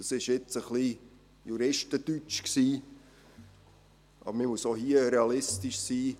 Das war nun etwas Juristendeutsch, aber man muss auch hier realistisch sein.